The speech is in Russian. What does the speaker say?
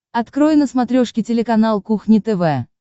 открой на смотрешке телеканал кухня тв